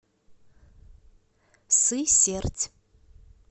сысерть